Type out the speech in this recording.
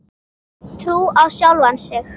Trú á sjálfan sig.